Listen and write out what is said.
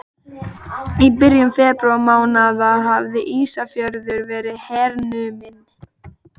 Í byrjun febrúarmánaðar hafði Ísafjörður verið hernuminn.